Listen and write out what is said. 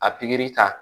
A pikiri ta